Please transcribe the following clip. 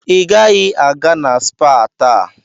Ị gaghị aga na spaa taa.